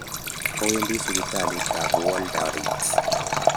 Awendi sipitalitab Walter Reed.